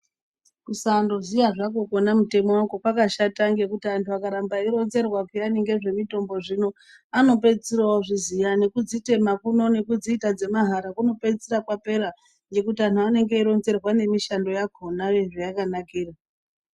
Kusandoziya zvakwo kwona mutemo wakwo kwakashata ngekuti antu akaramba eiironzerwa pheyani ngezvemitombo zvino anopedzesera odziziya nekudzitema kuno nekudziita dzemahara kunopedzesera kwapera ngendaa yekuti anthu anopedzisira odzironzerwa nemushando wakhona zvayakanakira.